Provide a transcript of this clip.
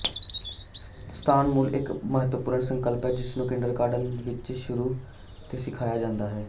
ਸਥਾਨ ਮੁੱਲ ਇਕ ਬਹੁਤ ਮਹੱਤਵਪੂਰਣ ਸੰਕਲਪ ਹੈ ਜਿਸਨੂੰ ਕਿੰਡਰਗਾਰਟਨ ਦੇ ਸ਼ੁਰੂ ਵਿਚ ਸਿਖਾਇਆ ਜਾਂਦਾ ਹੈ